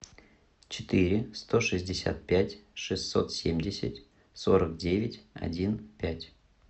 четыре сто шестьдесят пять шестьсот семьдесят сорок девять один пять